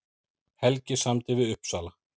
Helgi samdi við Uppsala